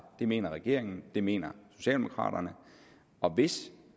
det mener regeringen det mener socialdemokraterne og hvis